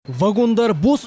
вагондары бос